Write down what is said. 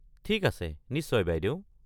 ঠিক আছে নিশ্চয় বাইদেউ।